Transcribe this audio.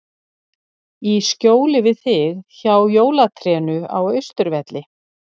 Í skjóli við þig, hjá jólatrénu á Austurvelli.